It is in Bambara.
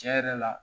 Tiɲɛ yɛrɛ la